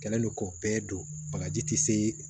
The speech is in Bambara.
Kɛlen don ko bɛɛ don bagaji tɛ se